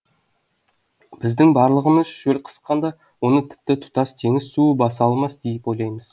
біздің барлығымыз шөл қысқанда оны тіпті тұтас теңіз суы баса алмас деп ойлаймыз